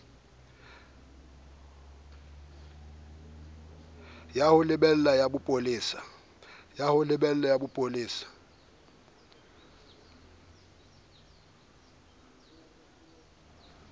ya ho lebela ya bopolesa